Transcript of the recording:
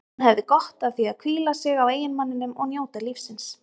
Hún hefði gott af að hvíla sig á eiginmanninum og njóta lífsins.